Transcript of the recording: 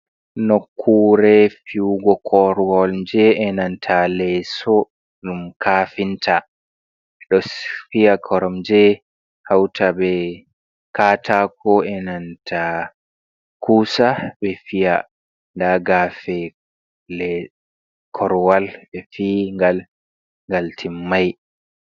Nokkure fi'ugo korwal je enanta leeso dum kafinta ɗo fiya koromje hauta be katako enanta kusa ɓe fiya nda gafe korwal be fi ngal ngal timmai.